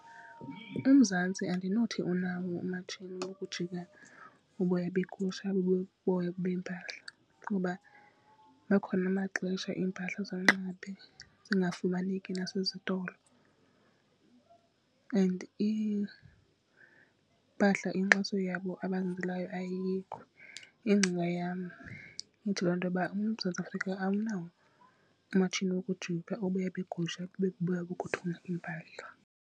UMzantsi andinothi unawo oomatshini bokujika uboya beegusha bube buboya bempahla kuba abakhona amaxesha iimpahla zonxiba babe zingafumaneki nasezitolo and iimpahla inkxaso yabo abazenzelayo ayikho. Ingcinga yam ithi, loo nto uba uMzantsi Afrika awunawo umatshini wokujika uboya beegusha bube buboya bokuthunga iimpahla.